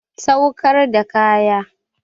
Saukar da kaya.